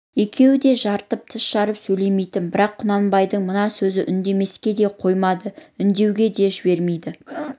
екеуі де жарытып тіс жарып сөйлемейтін бірақ құнанбайдың мына сөзі үндемеске де қоймайды үндеуге де жібермейді